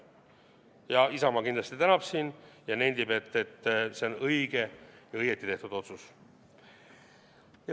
Ja Isamaa kindlasti tänab siin ja nendib, et see on õige ja õigesti tehtud otsus.